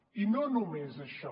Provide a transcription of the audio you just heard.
i no només això